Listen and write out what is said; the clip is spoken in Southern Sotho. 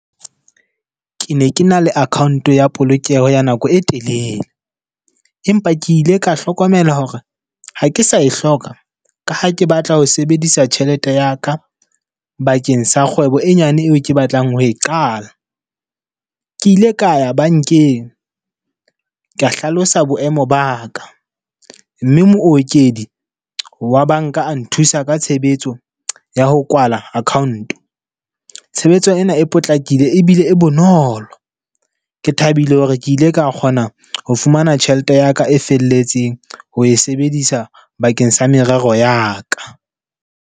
Ke ne ke na le account ya polokeho ya nako e telele. Empa ke ile ka hlokomela hore ha ke sa e hloka, ka ha ke batla ho sebedisa tjhelete ya ka bakeng sa kgwebo e nyane eo ke batlang ho e qala. Ke ile ka ya bankeng ka hlalosa boemo ba ka. Mme mookedi wa banka nthusa ka tshebetso ya ho kwala account. Tshebetso ena e potlakile ebile e bonolo. Ke thabile hore ke ile ka kgona ho fumana tjhelete ya ka e felletseng ho e sebedisa bakeng sa merero ya ka.